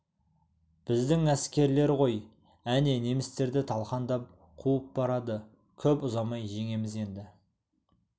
біздің әскерлер ғой әне немістерді талқандап қуып барады көп ұзамай жеңеміз енді